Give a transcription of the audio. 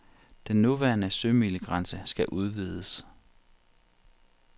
Den nuværende sømilegrænse skal udvides.